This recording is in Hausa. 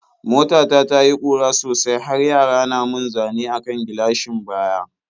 Mota ta ta yi ƙura sosai har yara na mun zane a kan gilashin baya.